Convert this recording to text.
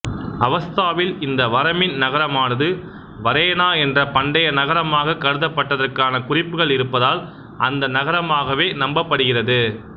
அவெஸ்தாவில் இந்த வரமின் நகரமானது வரேனா என்ற பண்டைய நகரமாகக் கருதப் பட்டதற்கான குறிப்புகள் இருப்பதால் அந்த நகரமாகவே நம்பப்படுகிறது